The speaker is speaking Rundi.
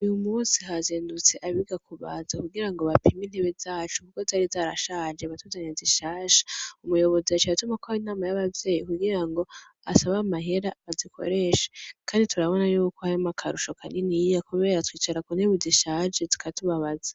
Uyumusi hazindutse abiga kubaza kugirango bapime intebe zacu kuko zari zarashaje batuzanire zishasha. Umuyobozi yaciye atumako inama y'abavyeyi kugirango asabe amahera bazikoreshe kandi turabona yuko harimwo akarusho kaniniya kubera twicara ku ntebe zishaje zikatubabaza.